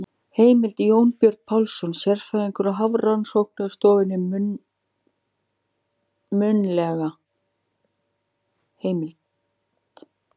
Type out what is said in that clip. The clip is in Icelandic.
Heimild: Jónbjörn Pálsson, sérfræðingur á Hafrannsóknarstofnun- munnleg heimild.